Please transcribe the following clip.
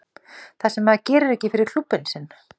Það sem að maður gerir ekki fyrir klúbbinn sinn.